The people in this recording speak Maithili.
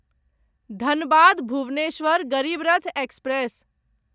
धनबाद भुवनेश्वर गरीब रथ एक्सप्रेस